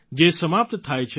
જે સમાપ્ત થાય છે